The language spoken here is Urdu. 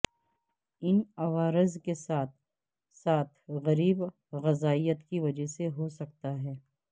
ان عوارض کے ساتھ ساتھ غریب غذائیت کی وجہ سے ہو سکتا ہے